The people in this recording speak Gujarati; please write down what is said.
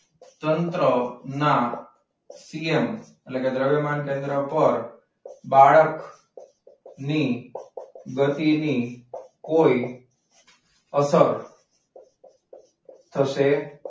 તંત્રના CM એટલે દ્રવ્યમાન કેન્દ્ર પર બાળક ની ગતિની કોઈ અસર થશે